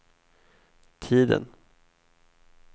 tiden